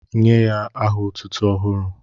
Nye ya aha otụ́tụ́ ọhụrụ